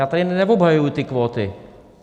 Já tady neobhajuji ty kvóty.